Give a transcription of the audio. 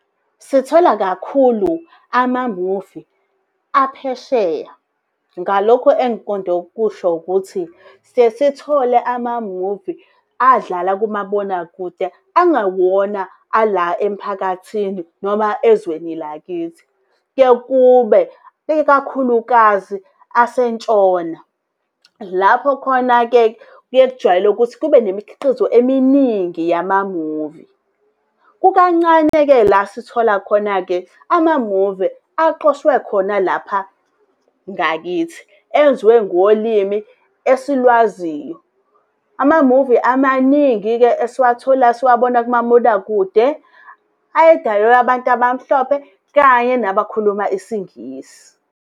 Sithola kakhulu amamuvi aphesheya. Ngalokho engiqonde ukusho ukuthi siye sithole amamuvi adlala kumabonakude angewona ala emphakathini noma ezweni lakithi. Kuye kube ikakhulukazi ase ntshona, lapho khona-ke kuye kujwayele ukuthi kube nemikhiqizo eminingi yamamuvi. Kukancane-ke la sithola khona-ke amamuvi aqoshwe khona lapha ngakithi, enziwe ngolimi esilwaziyo. Amamuvi amaningi-ke esiwabona kumabonakude, ayedalelwe abantu abamhlophe kanye nabakhuluma isingisi.